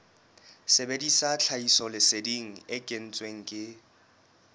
sebedisa tlhahisoleseding e kentsweng ke